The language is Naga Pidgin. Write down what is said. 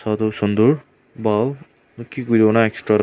gour tu sunder bhan ki kori bona extor--